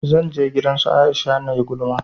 Zan je gidan su Aisha nayi gulma